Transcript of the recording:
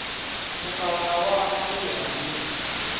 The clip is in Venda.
mukalaha waṋu ri ye hangei